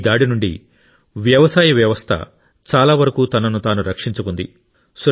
ఈ దాడి నుండి వ్యవసాయ వ్యవస్థ చాలా వరకు తనను తాను రక్షించుకుంది